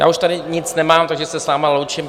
Já už tady nic nemám, takže se s vámi loučím.